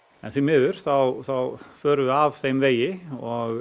en því miður þá þá förum við af þeim vegi og